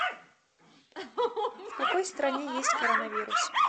в какой стране есть коронавирус